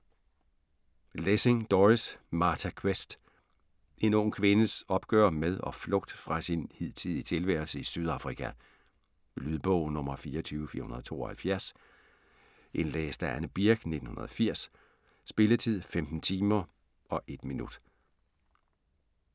Lessing, Doris: Martha Quest En ung kvindes opgør med og flugt fra sin hidtidige tilværelse i Sydafrika. Lydbog 24472 Indlæst af Anne Birch, 1980. Spilletid: 15 timer, 1 minutter.